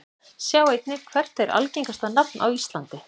Sjá einnig: Hvert er algengasta nafn á íslandi?